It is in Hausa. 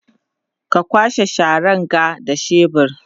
ka kwashe Sharan ga da shebur